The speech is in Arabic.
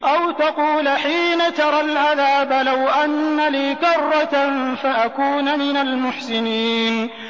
أَوْ تَقُولَ حِينَ تَرَى الْعَذَابَ لَوْ أَنَّ لِي كَرَّةً فَأَكُونَ مِنَ الْمُحْسِنِينَ